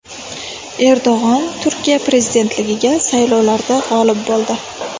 Erdo‘g‘on Turkiya prezidentligiga saylovlarda g‘olib bo‘ldi.